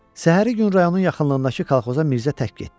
Səhəri gün rayonun yaxınlığındakı kolxoza Mirzə tək getdi.